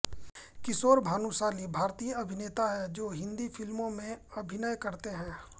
किशोर भानुशाली भारतीय अभिनेता हैं जो हिन्दी फ़िल्मों में अभिनय करते हैं